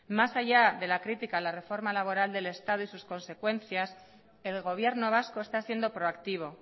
más allá de la crítica de la reforma laboral del estado y sus consecuencias el gobierno vasco está siendo proactivo